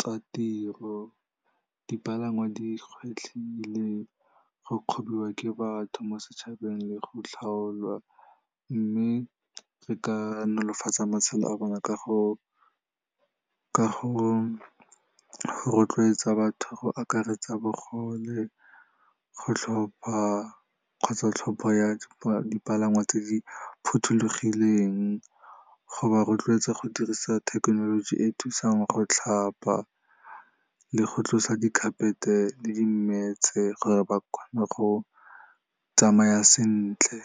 tsa tiro, dipalangwa dikgwetlhile, go kgobiwa ke batho mo setšhabeng le go tlhaolwa. Mme re ka nolofatsa matshelo a bona ka go rotloetsa batho go akaretsa bogole, go tlhopha kgotsa tlhopho ya dipalangwa tse di phothulogileng, go ba rotloetsa go dirisa thekenoloji e thusang go tlhapa le go tlosa di-carpet-e le dimetse, gore ba kgone go tsamaya sentle.